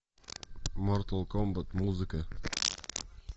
мортал комбат музыка